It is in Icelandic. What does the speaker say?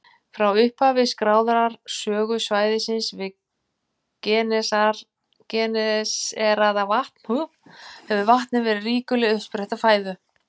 Frá upphafi skráðrar sögu svæðisins við Genesaretvatn hefur vatnið verið ríkuleg uppspretta fæðu.